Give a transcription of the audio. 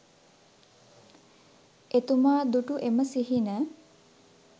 එතුමා දුටු එම සිහින